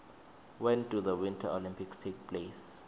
when do the winter olympics take place